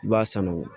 I b'a sanuya